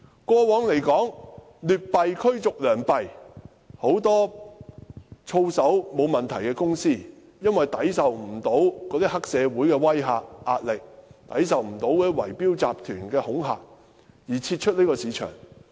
過往劣幣驅逐良幣，很多操守並無問題的公司無法抵受黑社會的威嚇和壓力，以及圍標集團的恐嚇，因而撤出這個市場。